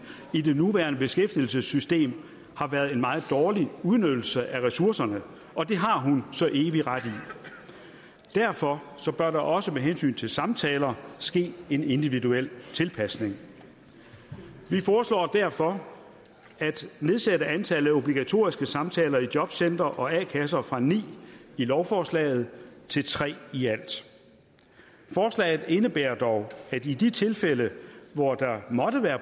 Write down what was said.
i det nuværende beskæftigelsessystem har været en meget dårlig udnyttelse af ressourcerne og det har hun så evig ret i derfor bør der også med hensyn til samtaler ske en individuel tilpasning vi foreslår derfor at nedsætte antallet af obligatoriske samtaler i jobcentre og a kasser fra ni i lovforslaget til tre i alt forslaget indebærer dog at i de tilfælde hvor der måtte være